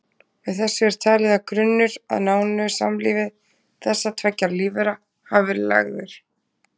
Með þessu er talið að grunnur að nánu samlífi þessara tveggja lífvera hafi verið lagður.